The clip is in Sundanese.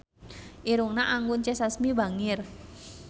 Irungna Anggun C. Sasmi bangir